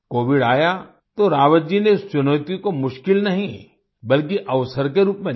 Covid आया तो रावत जी ने इस चुनौती को मुश्किल नहीं बल्कि अवसर के रूप में लिया